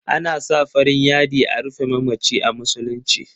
Ana sa farin yadi a rufe mamaci a musuluci.